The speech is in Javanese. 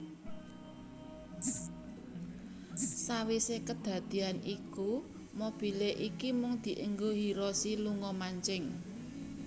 Sawise kedadeyan iku mobile iku mung dienggo Hiroshi lunga mancing